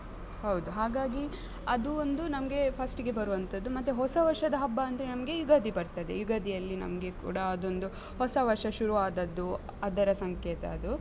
ಹೌದು. ಹಾಗಾಗಿ, ಅದು ಒಂದು ನಮ್ಗೆ first ಗೆ ಬರುವಂತದ್ದು. ಮತ್ತೆ ಹೊಸ ವರ್ಷದ ಹಬ್ಬ ಅಂದ್ರೆ ನಮ್ಗೆ ಯುಗಾದಿ ಬರ್ತದೆ. ಯುಗಾದಿ ಅಲ್ಲಿ ನಮ್ಗೆ ಕೂಡ ಅದ್ ಒಂದು ಹೊಸ ವರ್ಷ ಶುರುವಾದದ್ದು ಅದರ ಸಂಕೇತ ಅದು.